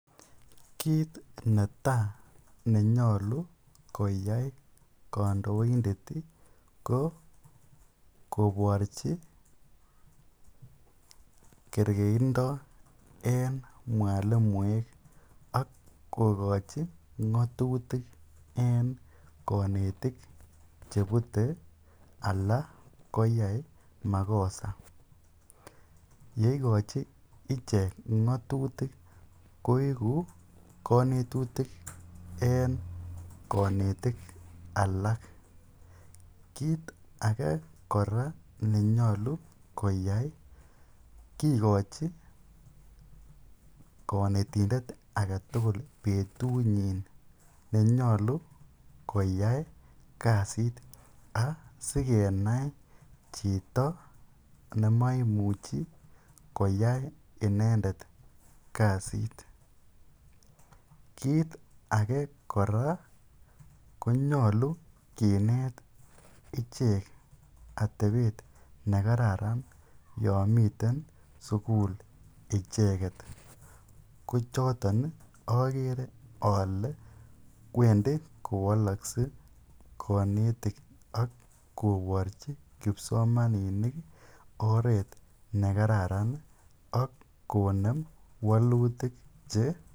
Kiit netaa nenyolu koyai kondoindet ko koborchi kerkeindo en mwalimuek ak kokochi ngotutik en konetik chebute alaa koyai makosa, yeikochi ichek ngotutik koiku konetutik en konetik alak, kiit akee kora nenyolu koyai kikochi konetindet aketukul betunyin nenyolu koyai kasit asikenai chito nemoimuchi koyai inendet kasiit, kiit akee kora konyolu kinet ichek atebet nekararan yoon miten sukul icheket, ko choton okere olee wendi kowolokse konetik ak koborchi kipsomaninik oreet nekararan ak konem wolutik che.